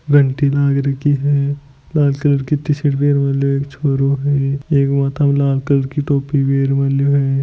घंटी लगा रखी है लाल कलर कि टी शर्ट भी भी एक छोरो है बो लाल कलर कि टोपी भी लगा रखो है।